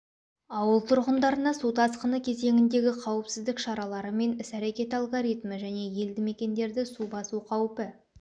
ауыл тұрғындарына су тасқыны кезеңіндегі қауіпсіздік шаралары мен іс-әрекет алгоритмі және елді мекендерді су басу қаупі